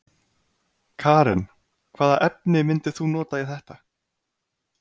Karen: Hvaða efni myndir þú nota í þetta?